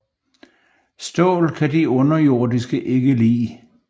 Stål kan de underjordiske ikke lide